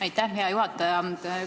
Aitäh, hea juhataja!